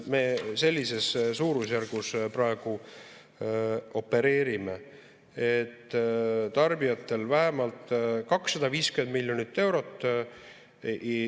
Me sellises suurusjärgus praegu opereerime, tarbijatel vähemalt 250 miljonit eurot.